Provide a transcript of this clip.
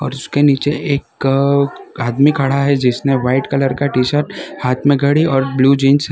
और उसके नीचे एक आदमी खड़ा है जिसने व्हाइट कलर का टी शर्ट हाथ मे घड़ी और ब्ल्यू जींस है।